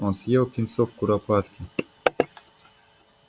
он съел птенцов куропатки